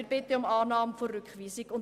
Wir bitten um Annahme der Rückweisung.